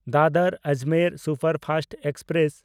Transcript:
Dadar Ajmer superfast express